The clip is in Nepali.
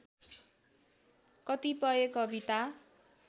कतिपय कविता